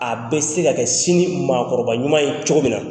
A bɛ se ka kɛ sini maakɔrɔbaba ɲuman ye cogo min na.